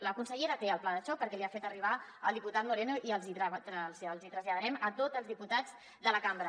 la consellera té el pla de xoc perquè l’hi ha fet arribar el diputat moreno i els hi traslladarem a tots els diputats de la cambra